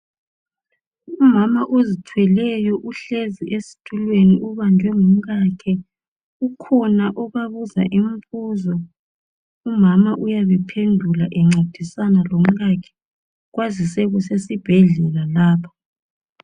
Umama ozithweleyo uhlezi ubanjwe ngumkakhe isandla ukhona obabuza imbuzo umama nguye ophendulayo leyo mibuzo kamongikazi.